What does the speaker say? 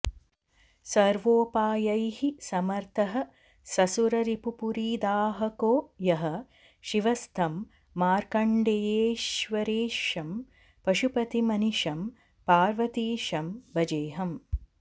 सर्वोपायैः समर्थः ससुररिपुपुरीदाहको यः शिवस्तं मार्कण्डेयेश्वरेशं पशुपतिमनिशं पार्वतीशं भजेऽहम्